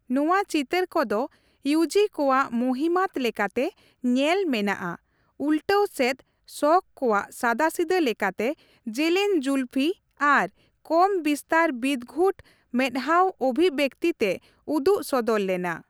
ᱱᱚᱣᱟ ᱪᱤᱛᱟᱹᱨ ᱠᱚᱫᱚ, ᱤᱭᱩᱡᱤᱼᱠᱚᱣᱟᱜ ᱢᱚᱦᱤᱢᱟᱛᱚ ᱞᱮᱠᱟᱛᱮ ᱧᱮᱞ ᱢᱮᱱᱟᱜᱼᱟ, ᱩᱞᱴᱟᱹᱣ ᱥᱮᱫ ᱥᱚᱠ ᱠᱚᱣᱟᱜ ᱥᱟᱫᱟᱥᱤᱫᱟᱹ ᱞᱮᱠᱟᱛᱮ ᱡᱮᱞᱮᱧᱼᱡᱩᱞᱯᱤ ᱟᱨ ᱠᱚᱢ ᱵᱤᱥᱛᱟᱨ ᱵᱤᱫᱜᱷᱩᱴ ᱢᱮᱫᱦᱟᱣ ᱚᱵᱷᱤᱵᱮᱠᱛᱤ ᱛᱮ ᱩᱫᱩᱜ ᱥᱚᱫᱚᱨ ᱞᱮᱱᱟ ᱾